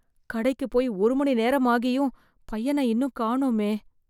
கடைக்கு போய் ஒரு மணி நேரமாகியும் பையன இன்னும் காணோமே